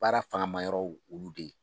Baara fangama yɔrɔ olu de ye